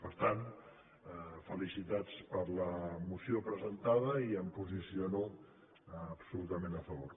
per tant felicitats per la moció presentada i m’hi posiciono absolutament a favor